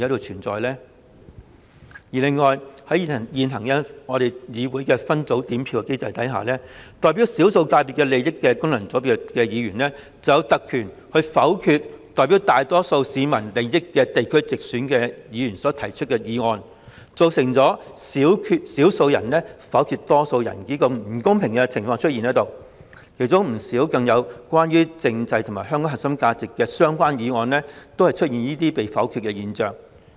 此外，在議會現行的分組點票機制下，代表少數界別利益的功能界別議員，卻有特權否決由代表大多數市民利益的地區直選議員所提出的議案，造成少數人否決多數人的不公平情況，更出現不少關於政制與香港核心價值的議案被否決的現象。